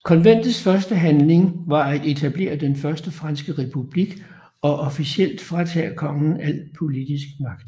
Konventets første handling var at etablere den Første Franske Republik og officielt fratage kongen al politisk magt